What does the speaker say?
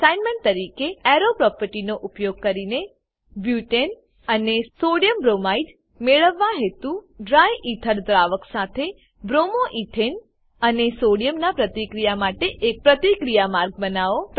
assignment તરીકે arrow પ્રોપર્ટીનો ઉપયોગ કરીને બુટને અને સોડિયમબ્રોમાઇડ મેળવવા હેતુ ડ્રાયથર દ્રાવક સાથે bromo એથને અને સોડિયમ નાં પ્રતિક્રિયા માટે એક પ્રતિક્રિયા માર્ગ બનાવો